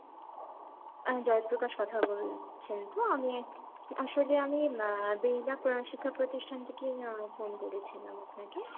জয়প্রকাশ কথা বলছেন তো, আমি একজন, আসলে আমি শিক্ষা প্রতিষ্ঠান থেকেই ফোন করেছিলাম আপনাকে।